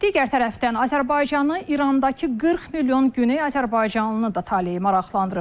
Digər tərəfdən, Azərbaycanı İrandakı 40 milyon Güney Azərbaycanlının da taleyi maraqlandırır.